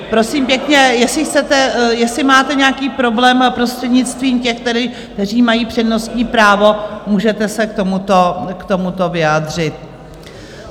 Prosím pěkně, jestli máte nějaký problém, prostřednictvím těch, kteří mají přednostní právo, se můžete k tomuto vyjádřit.